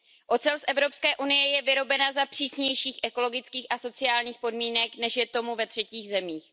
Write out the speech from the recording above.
Ocel z Evropské unie je vyrobena za přísnějších ekologických a sociálních podmínek, než je tomu ve třetích zemích.